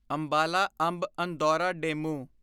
Ambala Amb Andaura DEMU